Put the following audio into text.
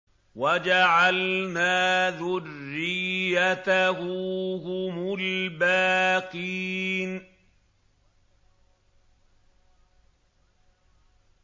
وَجَعَلْنَا ذُرِّيَّتَهُ هُمُ الْبَاقِينَ